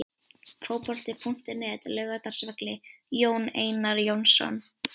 Fótbolti.net, Laugardalsvelli- Jón Einar Jónsson.